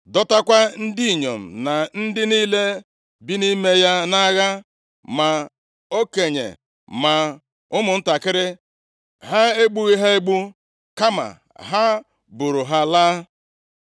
dọtakwa ndị inyom na ndị niile bi nʼime ya nʼagha, ma okenye ma ụmụntakịrị. Ha egbughị ha egbu, kama ha buuru ha laa.